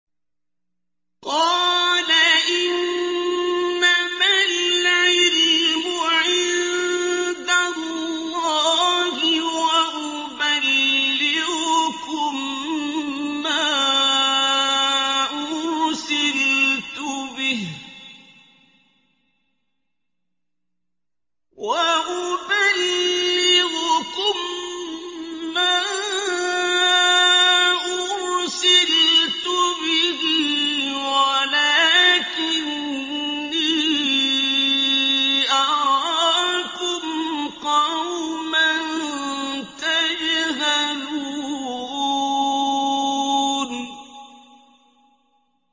قَالَ إِنَّمَا الْعِلْمُ عِندَ اللَّهِ وَأُبَلِّغُكُم مَّا أُرْسِلْتُ بِهِ وَلَٰكِنِّي أَرَاكُمْ قَوْمًا تَجْهَلُونَ